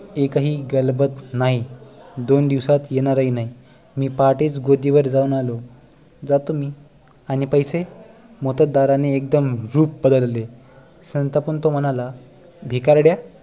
एकही गलबत नाही आणि दोन दिवसात येणार ही नाही मी पहाटेच गोदीवर जाऊन आलो जातो मी आणि पैसे मोत्तद्दारने एकदम रूप बदलले सांतपून तो म्हणाला भिकारड्या